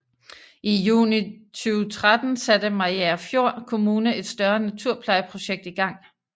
I juni 2013 satte Mariagerfjord Kommune et større naturplejeprojekt i gang